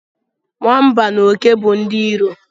Nwamba na oke bụ ndị iro